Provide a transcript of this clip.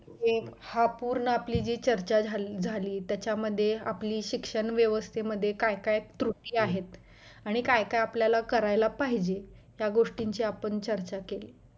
हे हा पूर्ण आपली जे चर्चा झाली झाली त्याच्यामध्ये आपली शिक्षण व्यवस्था मध्ये काय काय त्रुटी आहेत आणि काय काय आपल्याला करायला पाहिजे त्या गोष्टींचा आपण चर्चा केली